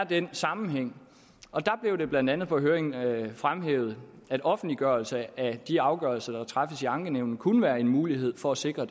den sammenhæng og der blev det blandt andet på høringen høringen fremhævet at offentliggørelse af de afgørelser der træffes i ankenævnene kunne være en mulighed for at sikre